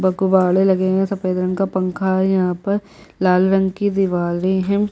बकवाड़े लगे है सफ़ेद रंग का पंखा है यहाँ पर लाल रंग की दीवारे है।